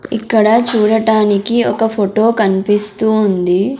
ఇక్కడ చూడటానికి ఒక ఫోటో కన్పిస్తూ ఉంది.